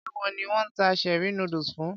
Ṣé ìwọ ni wón ta cherie noodles fún?